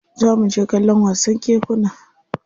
Za mu je kallon wasan kekuna.